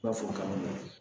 I b'a fɔ kamanagan